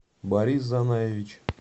борис занаевич